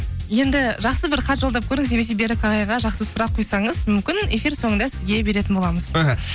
енді жақсы бір хат жолдап көріңіз немесе берік ағайға жақсы сұрақ қойсаңыз мүмкін эфир соңында сізге беретін боламыз мхм